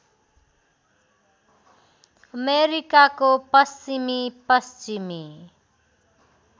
अमेरिकाको पश्चिमी पश्चिमी